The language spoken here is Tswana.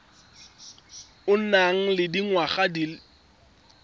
o nang le dingwaga di